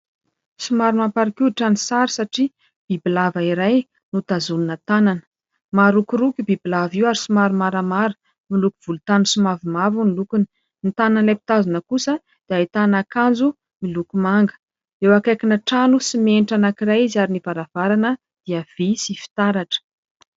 Somary mamparikoditra ny sary satria bibilava iray no tazomina tanana. Marokoroko io bibilava io ary somary maramara ; miloko volontany sy mavomavo ny lokony. Ny tanan'ilay mpitazona kosa dia ahitana akanjo miloko manga. Eo akaikina trano simenitra anankiray izy ary ny varavarana dia vy sy fitaratra.